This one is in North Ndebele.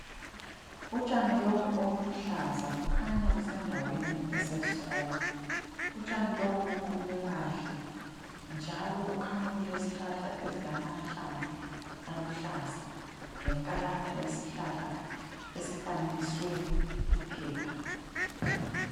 Utshani lobu obuluhlaza bukhanya busendaweni eseskolo . Utshani lobu buqunywe kahle njalo kukhanya kulezihlahla ezilamahlamvu aluhlaza lenkalakatha yesihlahla esifanekiswe iphepha.